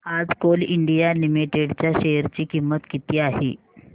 आज Coal India Limited च्या share ची किंमत किती आहे